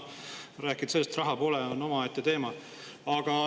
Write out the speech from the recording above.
Rääkida sellest, et raha pole – see on omaette teema.